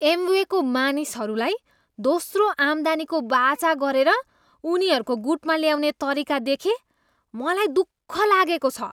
एमवेको मानिसहरूलाई दोस्रो आम्दानीको वाचा गरेर उनीहरूको गुटमा ल्याउने तरिका देखे मलाई दुःख लागेको छु।